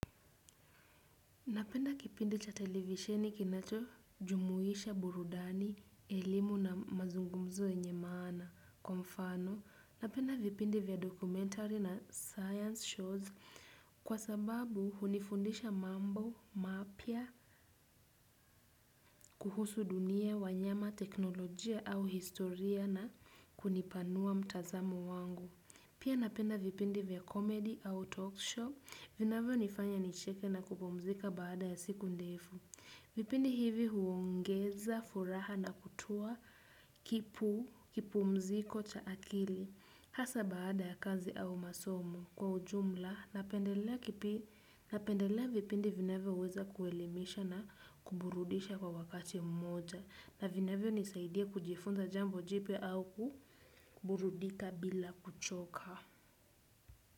Napenda kipindi cha televisheni kinacho jumuisha burudani, elimu na mazungumzo yenye maana kwa mfano. Napenda vipindi vya documentary na science shows kwa sababu hunifundisha mambo, mapya, kuhusu dunia, wanyama, teknolojia au historia na kunipanua mtazamo wangu. Pia napenda vipindi vya comedy au talk show vinavyo nifanya nicheke na kupumzika baada ya siku ndefu. Vipindi hivi huongeza, furaha na kutua kipumziko cha akili. Hasa baada ya kazi au masomo kwa ujumla, napendelea vipindi vinavyo weza kuelimisha na kuburudisha kwa wakati mmoja. Na vinavyo nisaidia kujifunza jambo jipya au kuburudika bila kuchoka.